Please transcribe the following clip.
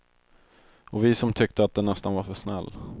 Och vi som tyckte att den nästan var för snäll.